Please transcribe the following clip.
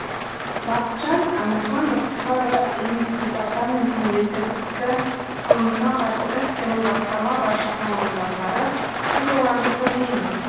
бақытжан әмірханов қр іім департаментінің есірткі қылмысына қарсы іс қимыл басқарма басшысының орынбасары біз оларды көрмейміз